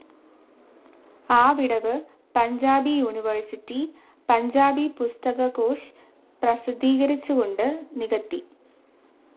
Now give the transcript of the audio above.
ആ വിടവ് പഞ്ചാബി യൂണിവേഴ്സിറ്റി പഞ്ചാബി പുസ്തക കോശ് പ്രസിദ്ധീകരിച്ചുകൊണ്ട് നികത്തി.